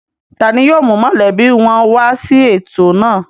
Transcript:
Ta ni yóò mú mọ̀lẹ́bí wọn wá sí ètò náà?